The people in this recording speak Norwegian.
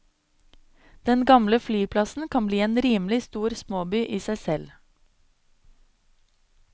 Den gamle flyplassen kan bli en rimelig stor småby i seg selv.